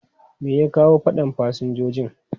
Me ya kawo fadan fasinjojin?